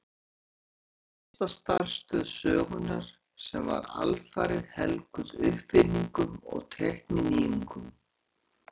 Þetta var fyrsta starfstöð sögunnar sem var alfarið helguð uppfinningum og tækninýjungum.